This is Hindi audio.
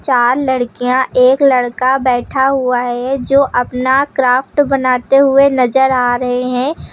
चार लड़कियां एक लड़का बैठा हुआ है जो अपना क्राफ्ट बनाते हुए नजर आ रहे हैं।